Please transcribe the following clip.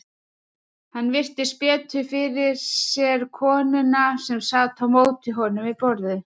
Hann virti betur fyrir sér konuna sem sat á móti honum við borðið.